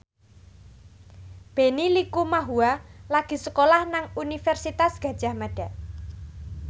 Benny Likumahua lagi sekolah nang Universitas Gadjah Mada